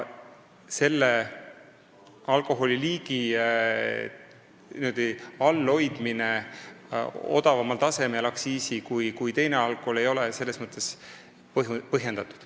Selle alkoholiliigi hinna aktsiisi abil teiste alkoholiliikide hinnast madalamal tasemel hoidmine ei ole selles mõttes põhjendatud.